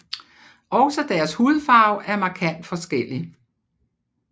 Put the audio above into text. Også deres hudfarve er markant forskellig